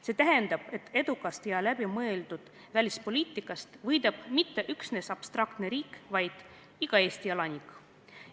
" See tähendab, et edukast ja läbimõeldud välispoliitikast ei võida mitte üksnes abstraktne riik, vaid iga Eesti elanik.